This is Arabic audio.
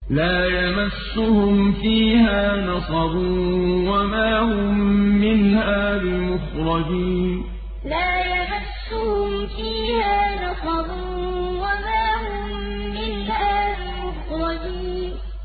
لَا يَمَسُّهُمْ فِيهَا نَصَبٌ وَمَا هُم مِّنْهَا بِمُخْرَجِينَ لَا يَمَسُّهُمْ فِيهَا نَصَبٌ وَمَا هُم مِّنْهَا بِمُخْرَجِينَ